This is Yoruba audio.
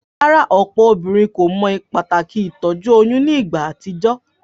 Rárá, òpò obínrin kò mo pàtàkì ìtójú oyún nígba àtijó?